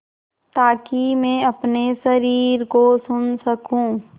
ताकि मैं अपने शरीर को सुन सकूँ